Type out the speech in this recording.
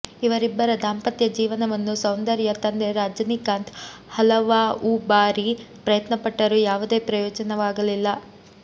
ಇವರಿಬ್ಬರ ದಾಂಪತ್ಯ ಜೀವನವನ್ನು ಸೌಂದರ್ಯ ತಂದೆ ರಂಜನಿಕಾಂತ್ ಹಲವಾಉ ಬಾರಿ ಪ್ರಯತ್ನಪಟ್ಟರೂ ಯಾವುದೇ ಪ್ರಯೋಜನವಾಗಲಿಲ್ಲ